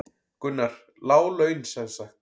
Gunnar: Lág laun sem sagt?